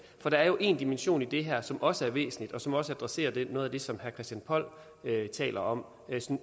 der er jo en dimension i det her som også er væsentlig og som også adresserer noget af det som herre christian poll taler om